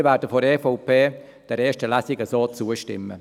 Wir von der EVP werden der ersten Lesung so zustimmen.